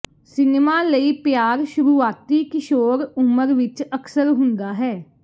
cinema ਲਈ ਪਿਆਰ ਸ਼ੁਰੂਆਤੀ ਕਿਸ਼ੋਰ ਉਮਰ ਵਿੱਚ ਅਕਸਰ ਹੁੰਦਾ ਹੈ